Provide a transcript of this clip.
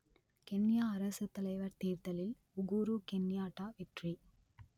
Kenya அரசுத்தலைவர் தேர்தலில் Uhuru Kenyatta வெற்றி